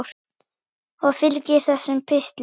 Og fylgir þessum pistli.